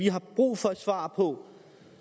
har brug for et svar på